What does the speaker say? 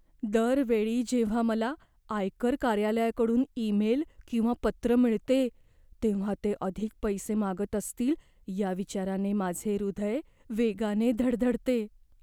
दर वेळी जेव्हा मला आयकर कार्यालयाकडून ईमेल किंवा पत्र मिळते, तेव्हा ते अधिक पैसे मागत असतील या विचाराने माझे हृदय वेगाने धडधडते.